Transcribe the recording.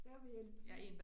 Ja, men jeg